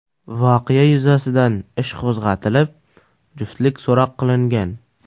Voqea yuzasidan ish qo‘zg‘atilib , juftlik so‘roq qilingan.